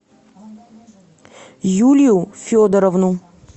юлию федоровну